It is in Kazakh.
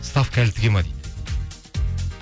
ставка әлі тіге ме дейді